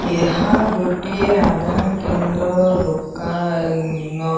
ଏହା ଗୋଟିଏ ଆଧାର କେନ୍ଦ୍ରର ଦୋକାନ।